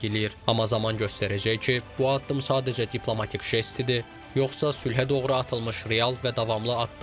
Amma zaman göstərəcək ki, bu addım sadəcə diplomatik jest idi, yoxsa sülhə doğru atılmış real və davamlı addım.